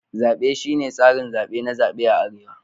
Zabe shine tsarin zabe na zabe a arewa.